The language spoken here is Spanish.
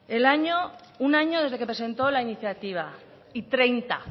un año desde que presentó la iniciativa y treinta